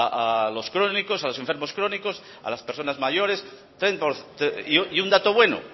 a los crónicos a los enfermos crónicos a las personas mayores y un dato bueno